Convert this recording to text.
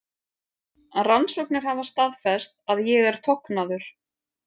Rannsóknir hafa staðfest að ég er tognaður.